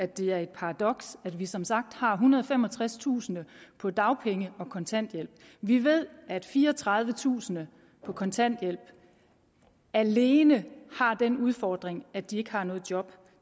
det er et paradoks at vi som sagt har ethundrede og femogtredstusind på dagpenge og kontanthjælp vi ved at fireogtredivetusind på kontanthjælp alene har den udfordring at de ikke har noget job